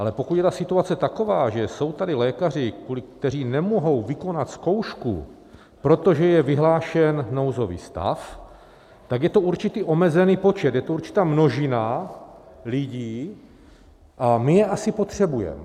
Ale pokud je ta situace taková, že jsou tady lékaři, kteří nemohou vykonat zkoušku, protože je vyhlášen nouzový stav, tak je to určitý omezený počet, je to určitá množina lidí a my je asi potřebujeme.